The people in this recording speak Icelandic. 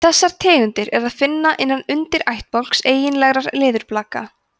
þessar tegundir er að finna innan undirættbálks eiginlegra leðurblaka